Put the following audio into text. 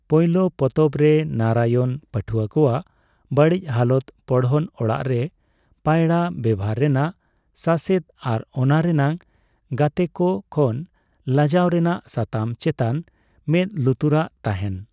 ᱯᱚᱭᱞᱳ ᱯᱚᱛᱚᱵᱽᱨᱮ ᱱᱟᱨᱟᱭᱚᱱ ᱯᱟᱹᱴᱷᱩᱣᱟᱹ ᱠᱚᱣᱟᱜ ᱵᱟᱹᱲᱤᱡᱽ ᱦᱟᱞᱚᱛ, ᱯᱚᱲᱦᱚᱱ ᱚᱲᱟᱜ ᱨᱮ ᱯᱟᱭᱲᱟ ᱵᱮᱵᱷᱟᱨ ᱨᱮᱱᱟᱜ ᱥᱟᱥᱮᱛ ᱟᱨ ᱚᱱᱟ ᱨᱮᱱᱟᱜ ᱜᱟᱛᱮᱠᱚ ᱠᱷᱚᱱ ᱞᱟᱡᱟᱣ ᱨᱮᱱᱟᱜ ᱥᱟᱛᱟᱢ ᱪᱮᱛᱟᱱ ᱢᱮᱫ ᱞᱩᱛᱩᱨᱟᱜ ᱛᱟᱸᱦᱮᱱ ᱾